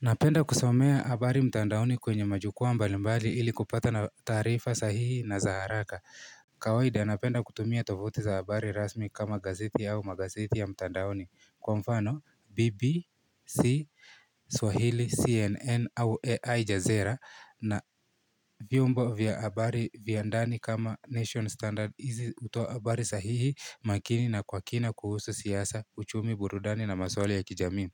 Napenda kusomea habari mtandaoni kwenye majukwaa mbali mbali ili kupata taarifa sahihi na za haraka. Kawaida, napenda kutumia tovuti za habari rasmi kama gazeti au magazeti ya mtandaoni. Kwa mfano, BBC, Swahili, CNN au AI Jazera na vyumbo vya habari vya ndani kama nation, standard. Hizi hutoa habari sahihi, makini na kwa kina kuhusu siasa, uchumi, burudani na maswali ya kijamii.